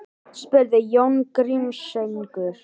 spurði Jón Grímseyingur.